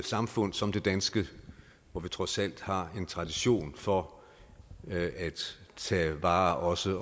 samfund som det danske hvor vi trods alt har en tradition for at tage vare også